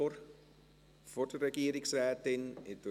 Wollen Sie vor der Regierungsrätin sprechen?